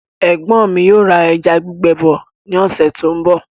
Ẹ̀gbọ́n mi yóò ra ẹja gbígbẹ bọ ní ọ̀sẹ̀ tó ń bọ̀